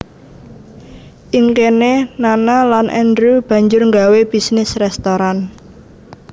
Ing kene Nana lan Andrew banjur nggawé bisnis restoran